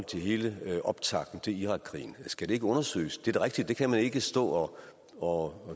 til hele optakten til irakkrigen skal det ikke undersøges det er da rigtigt at det kan vi ikke stå og